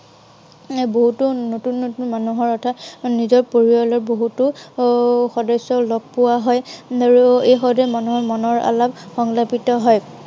এৰ বহুতো নতুন নতুন মানুহৰ অৰ্থাৎ নিজৰ পৰিয়ালৰ বহুতো এৰ সদস্য় লগ পোৱা হয়। আৰু এই সময়তে মনৰ আলাপ হয়।